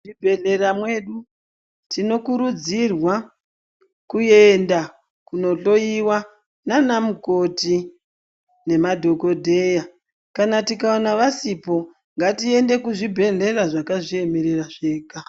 Muzvibhedhlera medu, tinokurudzirwa kuenda kunohloyiwa nanamukoti nemadhokodheya. Kana tikawana vasipo, ngatiyende kuzvibhedhlera zvakazviyemerera zvega.